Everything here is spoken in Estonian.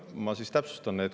Ma siis täpsustan.